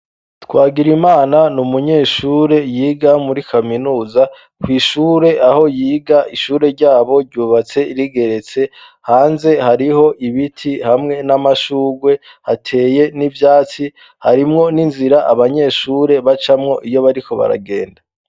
Twagira imana ni umunyeshure yiga muri kaminuza kw'ishure aho yiga ishure ryabo ryubatse rigeretse hanze hariho ibiti hamwe n'amashurwe hateye n'ivyatsi harimwo n'inzira abanyeshure bacamwo iyo bariko baragenda.